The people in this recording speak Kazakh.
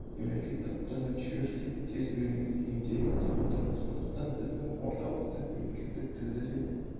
мемлекеттік қызметшілер де тез үйренуге бейімделеді деп отырмыз сондықтан біздің орталықта мемлекеттік тілді де